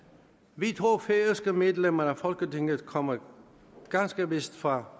vi to færøske medlemmer af folketinget kommer ganske vist fra